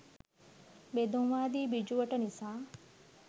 බෙදුම්වාදී බිජුවට නිසා